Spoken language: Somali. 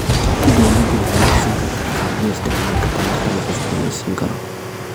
Dawladdu waxay ku siin kartaa kabyo isticmaalka tamarta la cusboonaysiin karo.